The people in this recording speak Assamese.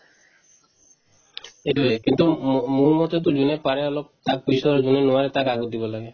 এইটোয়ে কিন্তু মো~ মোৰমতেতো যোনে পাৰে অলপ তাক পিছত যোনে নোৱাৰে তাক আগত দিব লাগে